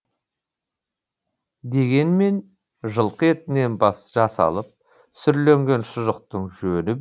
дегенмен жылқы етінен жасалып сүрленген шұжықтың жөні бөлек